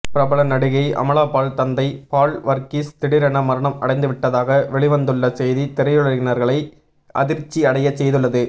பிரபல நடிகை அமலாபால் தந்தை பால் வர்கீஸ் திடீரென மரணம் அடைந்துவிட்டதாக வெளிவந்துள்ள செய்தி திரையுலகினர்களை அதிர்ச்சி அடைய செய்துள்ளது